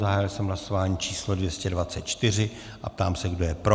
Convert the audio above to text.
Zahájil jsem hlasování číslo 224 a ptám se, kdo je pro.